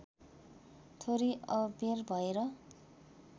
थोरै अबेर भएर